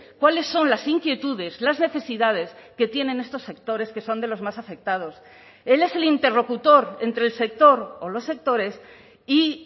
cuáles son las inquietudes las necesidades que tienen estos sectores que son de los más afectados él es el interlocutor entre el sector o los sectores y